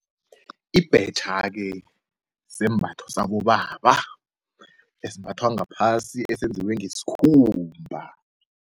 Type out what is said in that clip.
Ibhetjha-ke sembatha sabobaba esimbathwa ngaphasi esenziwe ngesikhumba.